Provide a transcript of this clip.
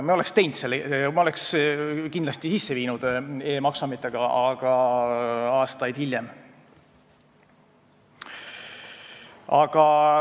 Me oleks kindlasti sisse viinud e-maksuameti, aga aastaid hiljem.